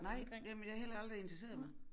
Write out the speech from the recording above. Nej jamen det har heller aldrig interesseret mig